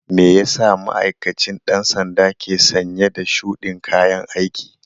Meyasa ma'aikacin ɗan sandan ke sanye da shudin kayan aiki?